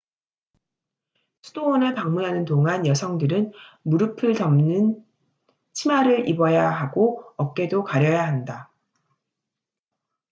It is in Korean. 수도원을 방문하는 동안 여성들은 무릎을 덮는 치마를 입어야 하고 어깨도 가려야 한다